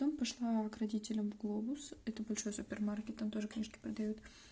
потом пошла к родителям в глобус это большой супермаркет натали книжки падают